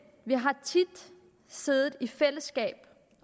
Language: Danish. vi har tit siddet i fællesskab